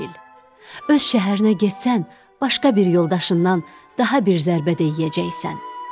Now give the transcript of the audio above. Öz şəhərinə getsən, başqa bir yoldaşından daha bir zərbə də yeyəcəksən.